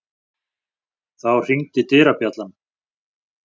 Þá hringdi dyrabjallan.